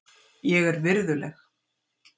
Ég er virðuleg.